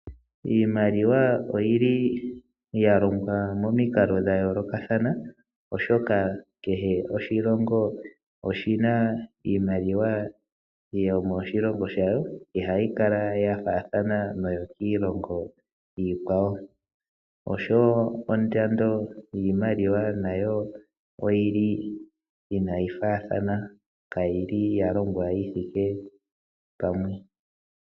Iimaliwa oyi li ya longwa momikalo dha yoolokathana, oshoka kehe oshilongo oshi na iimaliwa yomoshilongo shawo. Ihayi kala ya faathana noyokiilongo iikwawo osho wo ondando yiimaliwa nayo oyi li inayi faathana kayi li ya longwa yi thike pamwe.